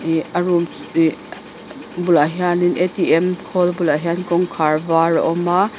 bulah hian in a t m khawl bulah hian kawngkhar var a awm a--